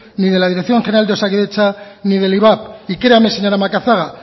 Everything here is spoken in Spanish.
ni de la dirección general de osakidetza ni del ivap y créame señora macazaga